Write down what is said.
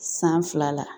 San fila la